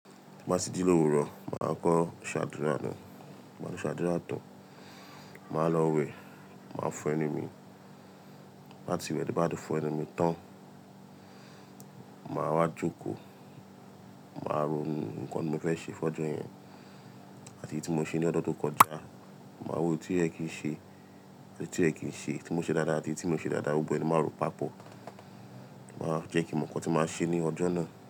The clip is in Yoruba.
Bá tì ji lówurọ̀, màá kọ́ ṣàdúrà náà, báa ti ṣàdúrà tán, màá lọ wẹ̀, màá fo ẹnu mi. Báti wẹ̀ bá ti fo ẹnu mi tán, màá wá jókòó, màá ronu nǹkan tí mo fẹ́ ṣe fọ́jọ́ yẹn àti èyí tí mo ṣe ní ọjọ́ tó kọjá. Màá wo èyí tí oyẹ̀ kìí ṣe àti tí koyẹ kìí ṣe, tí mo ṣe dáadáa àti tí mio ṣe dáadáa. Gbogbo ẹ̀ máa rò papọ̀, màá jẹ́ kí mo mọ̀ nǹkan tí màá ṣe ní ọjọ́ náà.